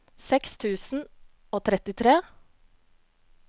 seks tusen og trettitre